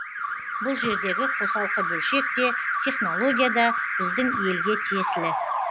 бұл жердегі қосалқы бөлшек те технология да біздің елге тиесілі